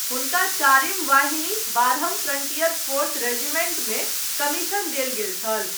हुनका चारिम वाहिनी, बारहम फ्रंटियर फोर्स रेजिमेंटमे कमीशन देल गेल छल।